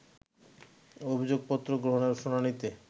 অভিযোগপত্র গ্রহণের শুনানিতে